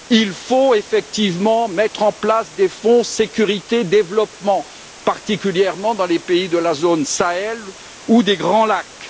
Il faut effectivement mettre en place des fonds sécurité et développement, particulièrement dans les pays du Sahel ou de la région des Grands Lacs.